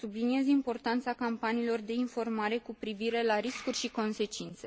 Subliniez importanța campaniilor de informare cu privire la riscuri și consecințe.